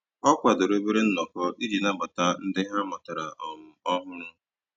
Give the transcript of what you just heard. Ọ kwadoro obere nnọkọ iji nabata ndị ha matara um ọhụrụ.